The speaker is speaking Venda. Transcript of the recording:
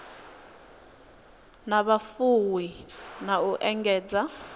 na vhufuwi na u engedza